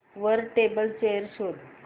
वर table chair शोध